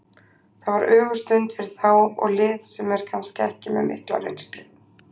Þetta var ögurstund fyrir þá og lið sem er kannski ekki með mikla reynslu.